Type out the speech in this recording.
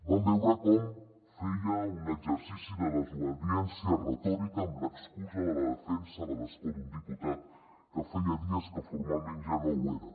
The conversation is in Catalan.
vam veure com feia un exercici de desobediència retòrica amb l’excusa de la defensa de l’escó d’un diputat que feia dies que formalment ja no ho era